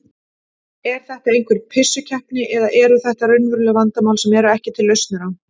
Er þetta einhver pissukeppni eða eru þetta raunveruleg vandamál sem eru ekki til lausnir á?